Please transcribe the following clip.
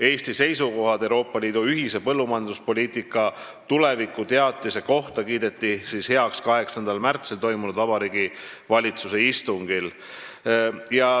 Eesti seisukohad Euroopa Liidu ühise põllumajanduspoliitika tulevikku käsitleva teatise kohta kiideti heaks 8. märtsil toimunud Vabariigi Valitsuse istungil.